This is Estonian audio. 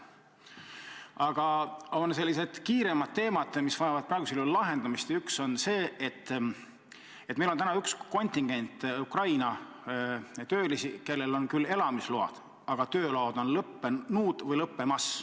Aga on ka kiiremad teemad, mis vajavad praegusel juhul lahendamist, ja üks on see, et meil on üks kontingent Ukraina töölisi, kellel on küll elamisload, aga tööload on lõppenud või lõppemas.